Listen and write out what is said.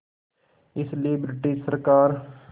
इसलिए ब्रिटिश सरकार